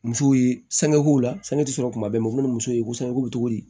Musow ye sangeko la sanu tɛ sɔrɔ kuma bɛɛ u bɛ ni muso ye ko sɛnɛko bɛ cogo di